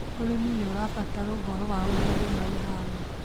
ũrĩmi nĩũrabatara ũhoro wa ũrĩa rĩera rĩhana